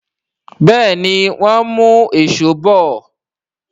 Béèni wón mú Èṣó bọ.